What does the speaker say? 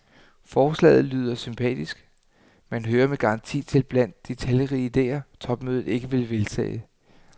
Forslaget lyder sympatisk, men hører med garanti til blandt de talrige idéer, topmødet ikke vil vedtage.